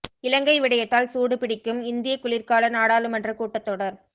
இலங்கை விடயத்தால் சூடு பிடிக்கும் இந்திய குளிர்கால நாடாளுமன்றக் கூட்டத் தொடர்